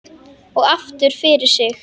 Og aftur fyrir sig.